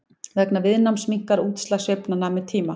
vegna viðnáms minnkar útslag sveiflnanna með tíma